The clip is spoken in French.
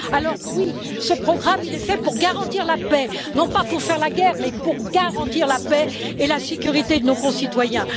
Alors oui, ce programme est fait pour garantir la paix, non pas pour faire la guerre, mais pour garantir la paix et la sécurité de nos concitoyens.